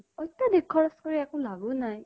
অত্য়াধিক খৰছ্কৰি একো লাভো নাই